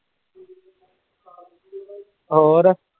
ਹੋਰ।